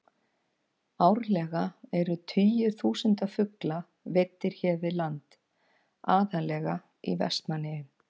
Árlega eru tugir þúsunda fugla veiddir hér við land, aðallega í Vestmannaeyjum.